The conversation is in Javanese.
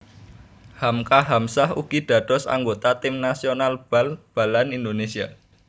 Hamka Hamzah ugi dados anggota tim nasional bal balan Indonésia